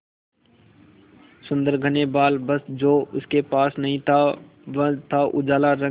सुंदर घने बाल बस जो उसके पास नहीं था वह था उजला रंग